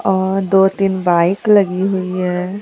और दो तीन बाइक लगी हुई है।